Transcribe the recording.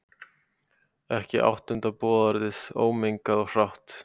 Ekki áttunda boðorðið, ómengað og hrátt.